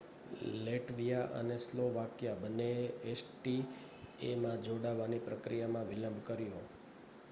Latvia અને Slovakia બંનેએ એસીટીએમાં જોડાવાની પ્રક્રિયામાં વિલંબ કર્યો